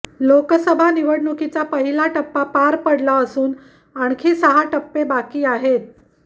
लोकसभा निवडणुकीचा पहिला टप्पा पार पडला असून आणखी सहा टप्पे बाकी आहेत